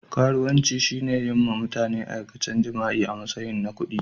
Karuwanci shine yin ma mutane aikacen jima'i a matsayin kudi.